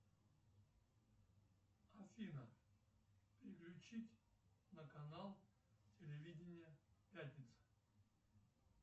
афина переключить на канал телевидения пятница